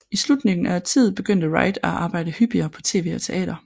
I slutningen af årtiet begyndte Wright at arbejde hyppigere på tv og teater